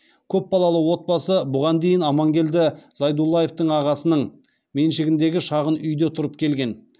көпбалалы отбасы бұған дейін амангелді зайдуллаевтың ағасының меншігіндегі шағын үйде тұрып келген